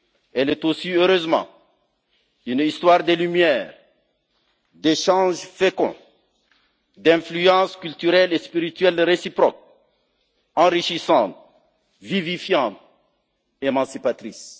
Elle est aussi heureusement une histoire de lumières, d'échanges féconds, d'influences culturelles et spirituelles réciproques, enrichissantes, vivifiantes et émancipatrices.